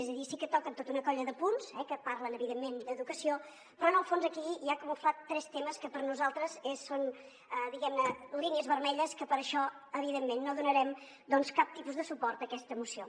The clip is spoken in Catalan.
és a dir sí que toquen tota una colla de punts que parlen evidentment d’educa·ció però en el fons aquí hi ha camuflats tres temes que per nosaltres són diguem·ne línies vermelles que per això evidentment no donarem cap tipus de suport a aques·ta moció